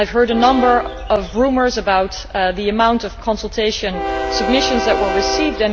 I have heard a number of rumours about the amount of consultation submissions which were received.